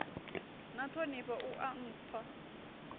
na ṱhonifho u a nthwa